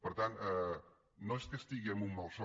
per tant no és que estigui en un malson